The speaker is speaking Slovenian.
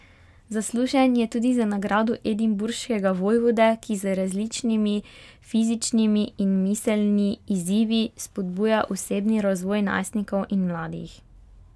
Zaslužen je tudi za Nagrado edinburškega vojvode, ki z različnimi fizičnimi in miselni izzivi spodbuja osebni razvoj najstnikov in mladih.